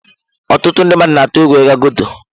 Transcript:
Ọtụtụ ndị mmadụ na-atụ egwu ịga ghetto.